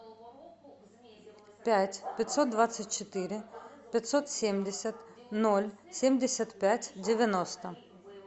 пять пятьсот двадцать четыре пятьсот семьдесят ноль семьдесят пять девяносто